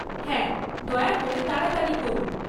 হ্যাঁ, দয়া করে তাড়াতাড়ি করুন।